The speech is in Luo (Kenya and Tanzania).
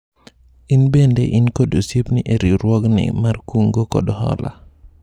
In bende in kod osiepni e riwruogni mar kungo kod hola